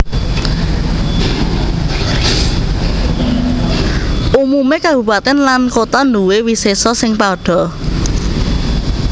Umumé kabupatèn lan kota nduwé wisésa sing padha